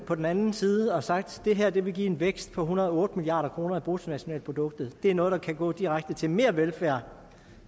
på den anden side og har sagt at det her vil give en vækst på en hundrede og otte milliard kroner i bruttonationalproduktet det er noget der kan gå direkte til mere velfærd